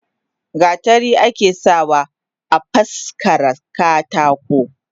Gatari ake sa wa afaskara katako.